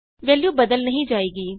value ਬਦਲ ਨਹੀਂ ਜਾਏਗੀ